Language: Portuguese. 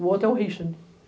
O outro é o Richard.